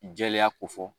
Jɛlenya ko fɔ